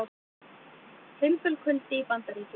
Fimbulkuldi í Bandaríkjunum